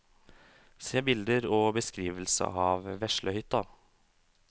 Se bilder og beskrivelse av veslehytta.